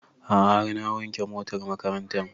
A'a har na wanke motar makarantan